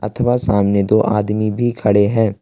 अथवा सामने दो आदमी भी खड़े हैं।